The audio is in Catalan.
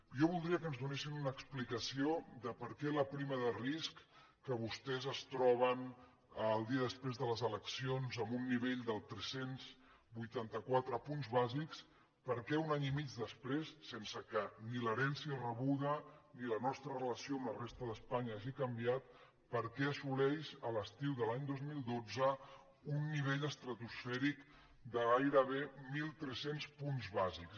jo voldria que ens donessin una explicació de per què la prima de risc que vostès es troben el dia després de les eleccions en un nivell de tres cents i vuitanta quatre punts bàsics un any i mig després sense que ni l’herència rebuda ni la nostra relació amb la resta d’espanya hagin canviat assoleix l’estiu de l’any dos mil dotze un nivell estratosfèric de gairebé mil tres cents punts bàsics